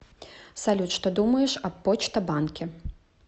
салют что думаешь об почта банке